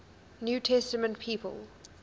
new testament people